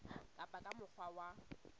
ka ba ka mokgwa wa